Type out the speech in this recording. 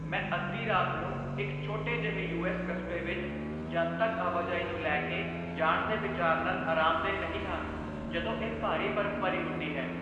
ਮੈਂ ਅੱਧੀ ਰਾਤ ਨੂੰ ਇੱਕ ਛੋਟੇ ਜਿਹੇ ਯੂ.ਐੱਸ. ਕਸਬੇ ਵਿੱਚ ਜਨਤਕ ਆਵਾਜਾਈ ਨੂੰ ਲੈ ਕੇ ਜਾਣ ਦੇ ਵਿਚਾਰ ਨਾਲ ਅਰਾਮਦੇਹ ਨਹੀਂ ਹਾਂ ਜਦੋਂ ਇਹ ਭਾਰੀ ਬਰਫ਼ਬਾਰੀ ਹੁੰਦੀ ਹੈ।